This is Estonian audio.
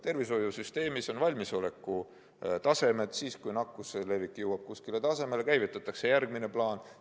Tervishoiusüsteemis on valmisolekutasemed ja siis, kui nakkuse levik jõuab kuskile tasemele, käivitatakse järgmine plaan.